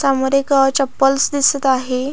समोर एक अ चप्पलस दिसत आहे.